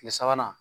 Tile sabanan